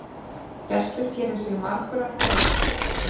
Gestur gerir sig margur að greifa.